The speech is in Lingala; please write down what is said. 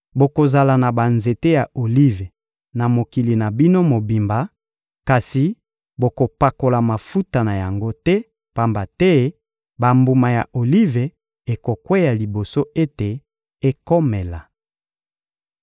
Bokozala na banzete ya olive na mokili na bino mobimba, kasi bokopakola mafuta na yango te, pamba te bambuma ya olive ekokweya liboso ete ekomela.